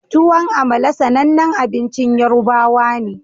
Tuwon amala sanannin abincin yorubawa ne